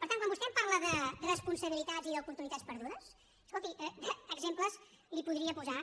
per tant quan vostè em parla de responsabilitats i d’oportunitats perdudes escolti d’exemples li’n podria posar